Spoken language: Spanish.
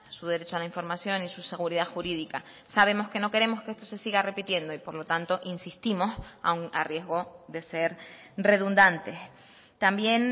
su derecho a la información y su seguridad jurídica sabemos que no queremos que esto se siga repitiendo y por lo tanto insistimos aun a riesgo de ser redundantes también